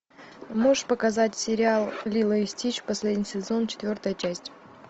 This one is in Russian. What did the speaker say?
можешь показать сериал лило и стич последний сезон четвертая часть